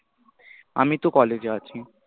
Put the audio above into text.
আমি তো college এ আছি।